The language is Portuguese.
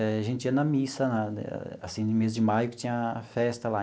Eh a gente ia na missa lá, assim no mês de maio, que tinha a festa lá.